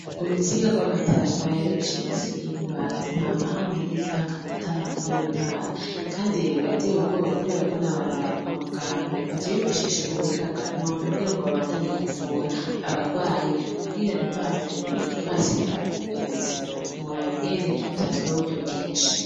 Urutsinga rw'amatara rwarayucitse ibubanza ntanahame kigize hake amatara muri yo ntara, kandi rerebe yateye ugoba, kubera ko n'abantu barikwa muganga bato bifashisha ubuhinga bwa noni kugira ngo babandanye kuvura abarwaye kugira ntiduhavure tuhasiga ubuzima ntuworaba ingene vyatwabe uburyo bwinshi.